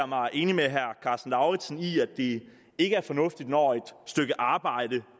mig enig med herre karsten lauritzen i at det ikke er fornuftigt når et stykke arbejde